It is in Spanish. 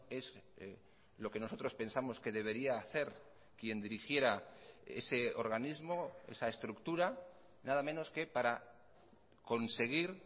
es lo que nosotros pensamos que debería hacer quien dirigiera ese organismo esa estructura nada menos que para conseguir